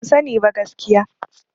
Ban sani ba gaskiya.